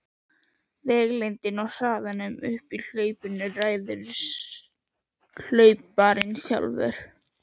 Vegalengdinni og hraðanum í hlaupinu ræður hlauparinn sjálfur.